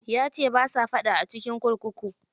Yace basa faɗa a cikin kurkuku.